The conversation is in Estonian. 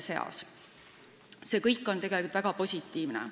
See kõik on tegelikult väga positiivne.